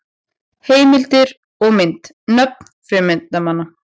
Heimildir og mynd: Nöfn frumefnanna.